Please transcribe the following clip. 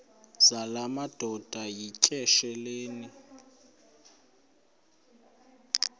zala madoda yityesheleni